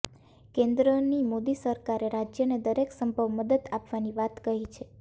કેન્દ્રની મોદી સરકારે રાજ્યને દરેક સંભવ મદદ આપવાની વાત કહી છે